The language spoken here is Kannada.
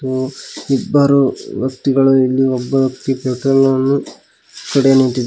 ಉ ಇಬ್ಬರು ವ್ಯಕ್ತಿಗಳು ಇಲ್ಲಿ ಒಬ್ಬ ಕಡೆ ನಿಂತಿದ್ದಾ--